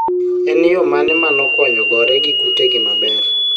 en yoo mane manokonyo gore gi kutegi maber?